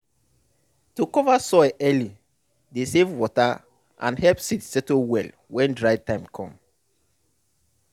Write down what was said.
to cover soil early dey save water and help seed settle well when dry time com